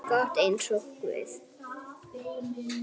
gott eins og guð.